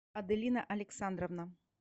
аделина александровна